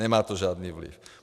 Nemá to žádný vliv!